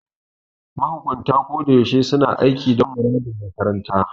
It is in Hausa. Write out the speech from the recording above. Mahukunta ko da yaushe suna aiki dan muradin makaranta.